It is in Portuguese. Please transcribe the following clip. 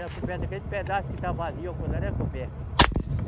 Era coberto, aquele pedaço que está vazio, acolá era coberto.